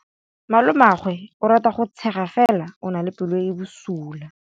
Malomagwe o rata go tshega fela o na le pelo e e bosula.